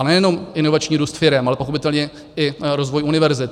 A nejenom inovační růst firem, ale i pochopitelně rozvoj univerzit.